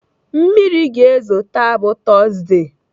Mmiri ga-ezo taa bụ tọzdee.